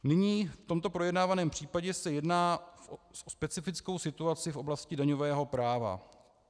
Nyní v tomto projednávaném případě se jedná o specifickou situaci v oblasti daňového práva.